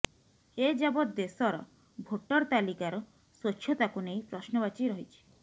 ଏଯାବତ ଦେଶର ଭୋଟର ତାଲିକାର ସ୍ୱଚ୍ଛତାକୁ ନେଇ ପ୍ରଶ୍ନବାଚୀ ରହିଛି